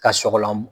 Ka sɔgɔlan